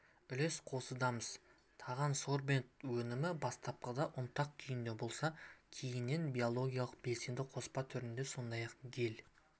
үлес қосудамыз тағансорбент өнімі бастапқыда ұнтақ күйінде болса кейіннен биологиялық белсенді қоспа түрінде сондай-ақ гель